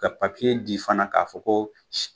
Ka di fana k'a fɔ ko